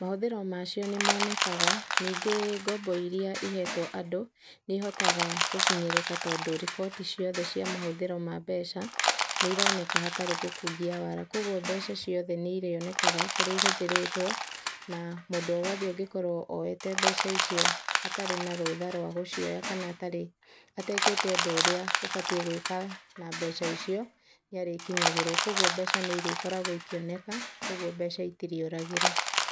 Mahũthĩro macio nĩ manekaga, ningĩ ngombo iria ihetwo andũ nĩ ihotaga gũkinyĩrĩka tondũ riboti ciothe cia mahũthĩro ma mbeca nĩ ironeka hatarĩ gũkungia waara, koguo mbeca ciothe nĩ irionekaga ũrĩa cihũthĩrĩtwo na mũndũ wothe ũngĩkorwo oete mbeca icio atarĩ na rũtha rwa gũcioya kana atarĩ, atekĩte ũndũ ũrĩa ũbatiĩ gwĩka na mbeca icio nĩ arĩkinyagĩrwo. Koguo mbeca nĩ irĩkoragwo ikĩoneka, koguo mbeca itirĩũragĩra.